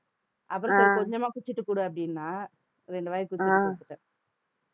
அப்புறம் சரி கொஞ்சமா குடிச்சிட்டு குடு அப்படின்னா ரெண்டு வாய் குடிச்சிட்டு கொடுத்துட்டேன்